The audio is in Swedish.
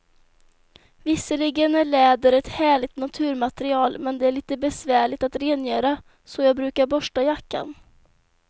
Visserligen är läder ett härligt naturmaterial, men det är lite besvärligt att rengöra, så jag brukar borsta jackan.